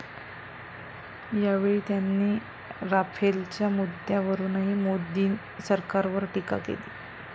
यावेळी त्यांनी राफेलच्या मुद्द्यावरूनही मोदी सरकारवर टीका केली.